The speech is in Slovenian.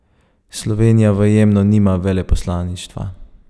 Slovenija v Jemnu nima veleposlaništva.